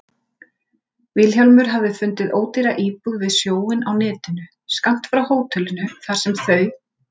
Vilhjálmur hafði fundið ódýra íbúð við sjóinn á netinu, skammt frá hótelinu þar sem þau